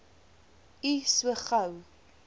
u so gou